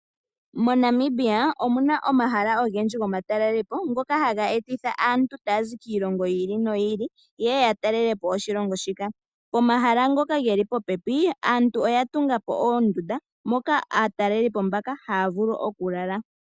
MoNamibia, omuna omahala ogendji gomatelelopo ngoka haga eta aantu taya zi kiilongo yi ili noyi ili, opo ya talelepo oshilongo shika. Pomahala ngoka geli popepi, aantu oya tungapo oondunda, moka aatalelipo mbaka haya vulu okulala.